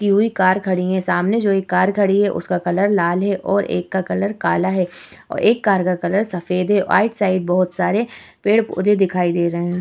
की हुई कार खड़ी हुई है। सामने जो एक कार खड़ी हुई है उसका कलर लाल है और एक का कलर काला है और एक कार का कलर सफेद है। आइड-साइड बहोत सारे पेड़-पौधे दिखाई दे रहे हैं।